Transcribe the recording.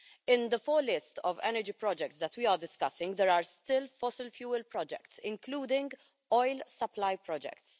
In the full list of energy projects that we are discussing, there are still fossil fuel projects, including oil-supply projects.